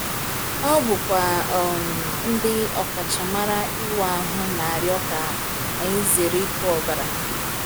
Ọ bụkwa um ndị ọkachamara ịwa ahụ na-arịọ ka anyị zere ịkụ ọbara!